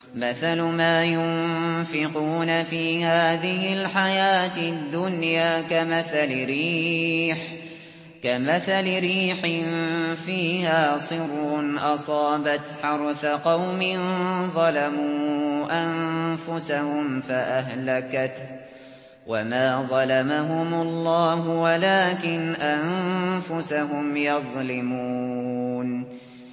مَثَلُ مَا يُنفِقُونَ فِي هَٰذِهِ الْحَيَاةِ الدُّنْيَا كَمَثَلِ رِيحٍ فِيهَا صِرٌّ أَصَابَتْ حَرْثَ قَوْمٍ ظَلَمُوا أَنفُسَهُمْ فَأَهْلَكَتْهُ ۚ وَمَا ظَلَمَهُمُ اللَّهُ وَلَٰكِنْ أَنفُسَهُمْ يَظْلِمُونَ